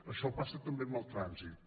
això passa també amb el trànsit